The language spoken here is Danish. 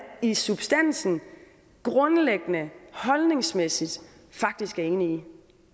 i substansen grundlæggende og holdningsmæssigt faktisk er enig